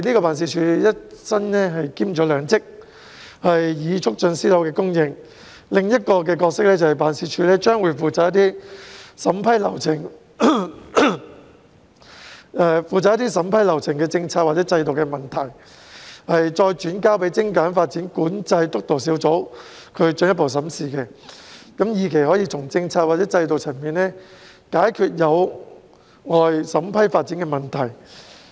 辦事處除了一身兼兩職促進私樓供應外，還有另一個角色，便是負責將涉及審批流程的政策或制度的問題，轉交給精簡發展管制督導小組進一步審視，以期從政策或制度的層面解決有礙審批發展的問題。